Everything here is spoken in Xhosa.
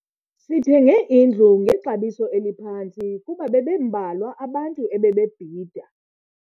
Sithenge indlu ngexabiso eliphantsi kuba bebembalwa abantu ebebebhida.